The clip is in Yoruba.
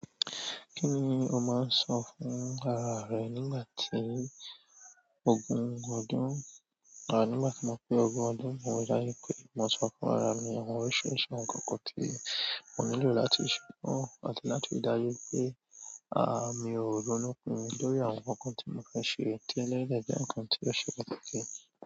Kí ni o máa ń sọ fún ara à rẹ nígbà tí ogun ń gbọ́dún? À nígbà tí mo pé ogún ọdún mo yarí pé, mo sọ fún ara mi àwọn orísìírísìí ǹkan-kan tí mo nílò láti ṣe. Mo ní láti ri dájú pé, à, mi ò ronú nítorí àwọn ǹkankan tí mo fẹ́ ṣe tẹ́lẹ̀ tó dẹ̀ jẹ́ ǹkan tí ó ṣe pàtàkì.